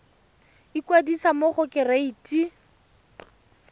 ikwadisa mo go kereite r